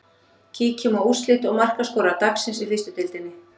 Kíkjum á úrslit og markaskorara dagsins í fyrstu deildinni.